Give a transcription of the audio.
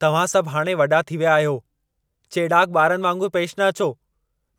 तव्हां सभ हाणे वॾा थी विया आहियो! चेड़ाक ॿारनि वांगुर पेश न अचो।